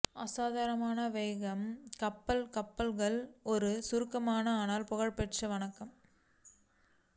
அசாதாரணமான வேகமாக கப்பல் கப்பல்கள் ஒரு சுருக்கமான ஆனால் புகழ்பெற்ற வணக்கம்